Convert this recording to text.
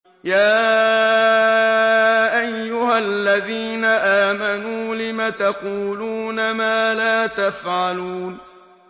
يَا أَيُّهَا الَّذِينَ آمَنُوا لِمَ تَقُولُونَ مَا لَا تَفْعَلُونَ